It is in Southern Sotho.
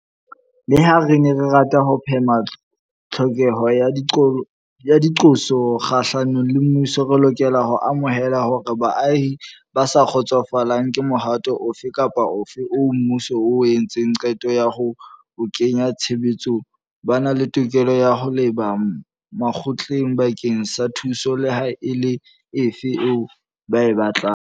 Leha re ne re rata ho phema tlhokeho ya diqoso kgahlanong le mmuso, re lokela ho amohela hore baahi ba sa kgotsofalang ke mohato ofe kapa ofe oo mmuso o entseng qeto ya ho o kenya tshebetsong ba na le tokelo ya ho leba makgotleng bakeng sa thuso leha e le efe eo ba e batlang.